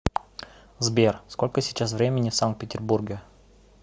сбер сколько сейчас времени в санкт петербурге